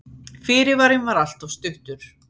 Fyrirvarinn var alltof stuttur.